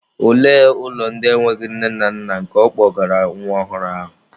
Olee ụlọ ndị enweghị nne na nna nke ọ kpọgara nwa ọhụrụ ahụ?